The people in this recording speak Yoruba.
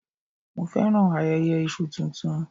Mo féràn ayẹyẹ Iṣu tuntun.